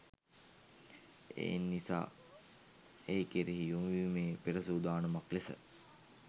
එනිසා ඒ කෙරෙහි යොමුවීමේ පෙරසූදානමක් ලෙස